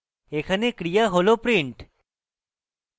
এখানে ক্রিয়া হল print